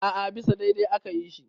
a a bisa daidai aka yi shi